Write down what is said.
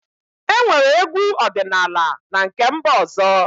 Enwere egwu ọdịnala na nke mba ọzọ